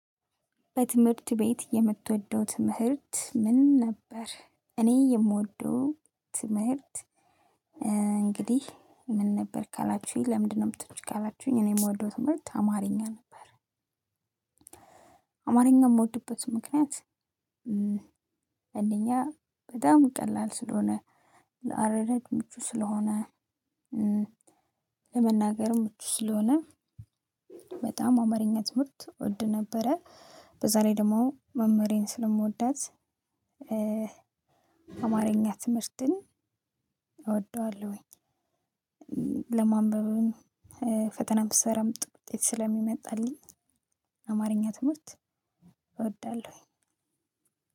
በትምህርት ቤት የምትወደው ትምህርት ምን ነበር? እኔ የምወደው ትምህርት እንግዲህ ምን ነበር ካላችሁኝ ለምንድነው የምትወጂው ካላችሁኝ እኔ የምወደው ትምህርት አማርኛ ነበር። አማርኛ የምወድበት ምክንያት። አማርኛ በጣም ቀላል ስለሆነ ለአረዳድ ምቹ ስለሆነ ለመናገርም ምቹ ስለሆነ በጣም አማርኛ ትምህርት እወድ ነበረ። በዛ ላይ ደግሞ መምህሬን ስለምወዳት አማርኛ ትምህርትን እወደዋለሁኝ። ለማንበብም ፈተናም ስሰራም ጥሩ ውጤት ስለሚመጣልኝ አማርኛ ትምህርት እወዳለሁኝ።